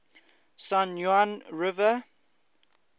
san juan river